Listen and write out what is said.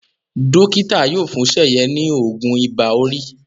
Dókítà yóò fún Seye ní oògùn Ibà-orí